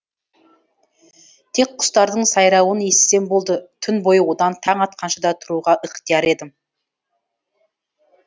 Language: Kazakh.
тек құстардың сайрауын естісем болды түні бойы одан таң атқанша да тұруға ықтияр едім